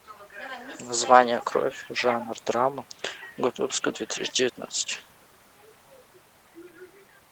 название кровь жанр драма год выпуска две тысячи девятнадцать